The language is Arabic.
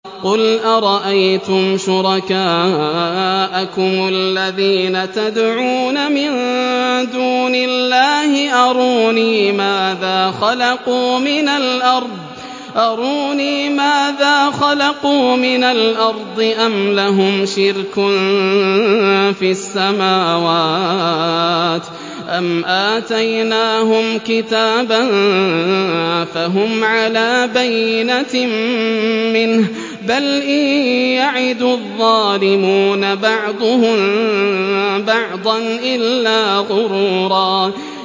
قُلْ أَرَأَيْتُمْ شُرَكَاءَكُمُ الَّذِينَ تَدْعُونَ مِن دُونِ اللَّهِ أَرُونِي مَاذَا خَلَقُوا مِنَ الْأَرْضِ أَمْ لَهُمْ شِرْكٌ فِي السَّمَاوَاتِ أَمْ آتَيْنَاهُمْ كِتَابًا فَهُمْ عَلَىٰ بَيِّنَتٍ مِّنْهُ ۚ بَلْ إِن يَعِدُ الظَّالِمُونَ بَعْضُهُم بَعْضًا إِلَّا غُرُورًا